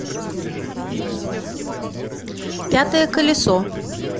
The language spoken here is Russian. пятое колесо